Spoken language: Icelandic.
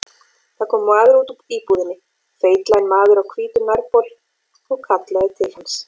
Það kom maður út úr íbúðinni, feitlaginn maður á hvítum nærbol, og kallaði til hans.